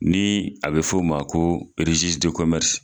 Ni a bɛ fɔ o ma ko